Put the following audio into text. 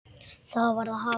Það varð að hafa það.